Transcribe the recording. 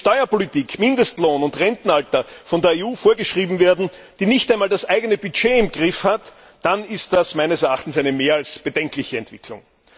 Wenn Steuerpolitik, Mindestlohn und Rentenalter von der EU vorgeschrieben werden, die nicht einmal das eigene Budget im Griff hat, dann ist das meines Erachtens eine mehr als bedenkliche Entwicklung.